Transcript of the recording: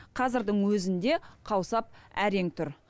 қазірдің өзінде қаусап әрең тұр